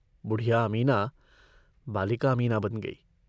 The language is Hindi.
बुढ़िया अमीना बालिका अमीना बन गयी।